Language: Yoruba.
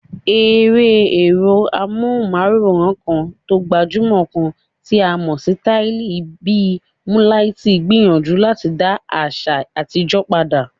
Eré èrò amóhùnmáwòrán kan tó gbajúmò kan tí a mọ̀ sí Tálíì bì múńlaitì gbìyànjú láti dá àṣà àtijó padà.